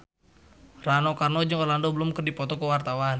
Rano Karno jeung Orlando Bloom keur dipoto ku wartawan